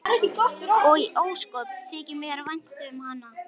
Og ósköp þykir mér vænt um hana.